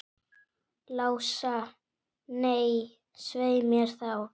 Lása, nei, svei mér þá.